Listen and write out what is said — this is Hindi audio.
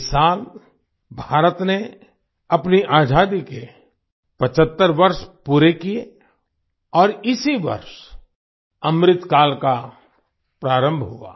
इस साल भारत ने अपनी आजादी के 75 वर्ष पूरे किये और इसी वर्ष अमृतकाल का प्रारंभ हुआ